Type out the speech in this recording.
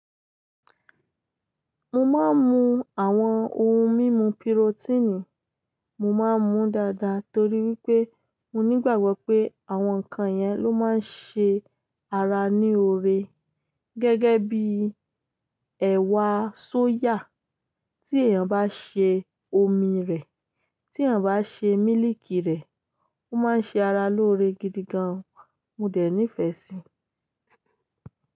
Mo máa ń mu àwọn ohun mímu pirotíìnì, mo máa ń mu dáadáa torí wípé mo nígbàgbọ́ pé àwọn nǹkan yẹn ló máa ń ṣe ara ní oore. Gẹ́gẹ́ bí ẹ̀wà sóyà, tí èèyàn bá ṣe omi rẹ̀, tí èèyàn bá ṣe mílíìkì rẹ̀, ó máa ń ṣe ara lóore gidigan, mo dẹ̀ nífẹ̀ẹ́ sí i.